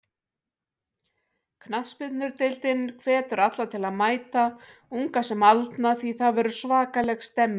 Knattspyrnudeildin hvetur alla til að mæta, unga sem aldna því það verður svakaleg stemning.